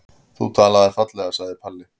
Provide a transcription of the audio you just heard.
Þú talaðir fallega, sagði Palli.